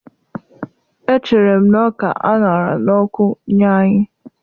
Echere m ọka a ṅara n'ọkụ nye anyị.